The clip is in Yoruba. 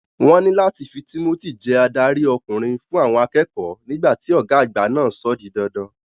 Wọ́n ní láti fi Timothy jẹ adarí ọkùnrin fún àwọn akẹ́kọ̀ọ́ nígbà tí ọ̀gá agba náà sọ ó di dandan.